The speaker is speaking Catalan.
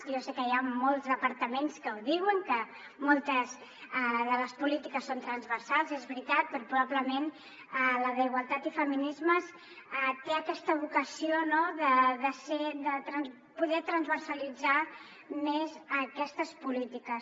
jo sé que hi ha molts departaments que ho diuen que moltes de les polítiques són transversals és veritat però probablement la d’igualtat i feminismes té aquesta vocació de poder transversalitzar més aquestes polítiques